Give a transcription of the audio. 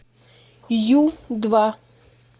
ю два